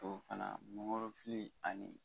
Ɔ fana mangorofili ani